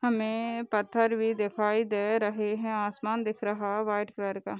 हमें पत्थर भी दिखाई दे रहे हैं आसमान दिख रहा वाइट कलर का।